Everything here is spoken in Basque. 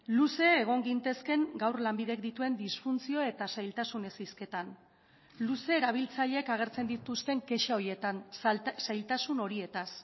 luze egon gintezkeen gaur lanbidek dituen disfuntzio eta zailtasunez hizketan luze erabiltzaileek agertzen dituzten kexa horietan zailtasun horietaz